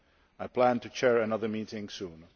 I plan to chair another meeting soon.